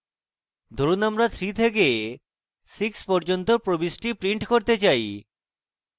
ধরুন আমরা 3 থেকে 6 পর্যন্ত print print করতে চাই